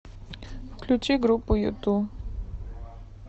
включи группу юту